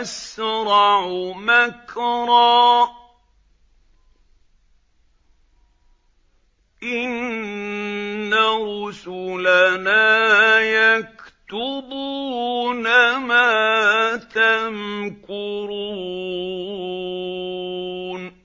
أَسْرَعُ مَكْرًا ۚ إِنَّ رُسُلَنَا يَكْتُبُونَ مَا تَمْكُرُونَ